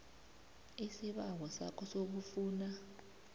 isibawo sakho sokufuna